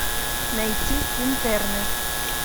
найти интерны